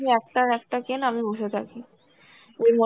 একটা একটা কেন আমি বসে থাকি. এর মো